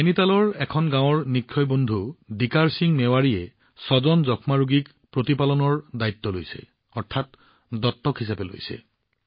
নাইনিতালৰ নিক্ষয় মিত্ৰ শ্ৰী দিকাৰ সিং মেৱাৰীয়ে এখন গাঁৱৰ ৬গৰাকী টিবি ৰোগীৰ দত্তক লৈছে